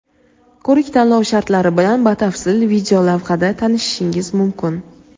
Ko‘rik-tanlov shartlari bilan batafsil videolavhada tanishishingiz mumkin.